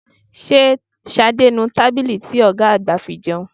Ṣé Ṣadé ń nu tábìlì ti ọ̀gá àgbà fi jẹun?